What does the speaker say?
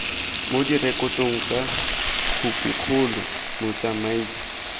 mo direkotong tsa khopikgolo motsamaisi